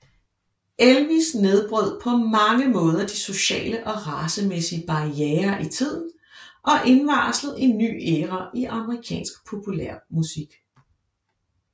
Elvis nedbrød på mange måder de sociale og racemæssige barrierer i tiden og indvarslede en ny æra i amerikansk populærmusik